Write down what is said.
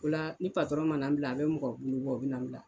O la ni patɔrɔn mana n bila a bɛ mɔgɔ bolo bɔ u bɛ na bila.